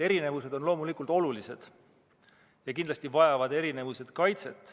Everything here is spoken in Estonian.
Erinevused on loomulikult olulised ja kindlasti vajavad erinevused kaitset.